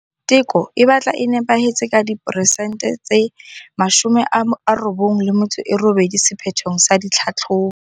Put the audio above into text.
Teko e batla e nepahetse ka 98 peresente sephethong sa ditlhahlobo.